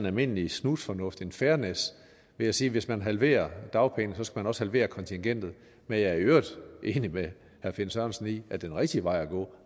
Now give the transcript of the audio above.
almindelig snusfornuft en fairness ved at sige at hvis man halverer dagpengesatsen også halvere kontingentet men jeg er i øvrigt enig med herre finn sørensen i at den rigtige vej at gå